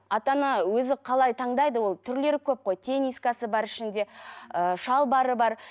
ата ана өзі қалай таңдайды ол түрлері көп қой теннискасы бар ішінде ы шалбары бар